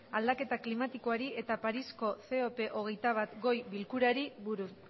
aldaketa klimatikoari eta parisko cop hogeita bat goi bilkurari buruz